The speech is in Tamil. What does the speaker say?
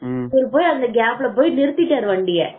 இவரு போய் அதுல கேப்ல போய் நிறுத்திட்டாரு வண்டிய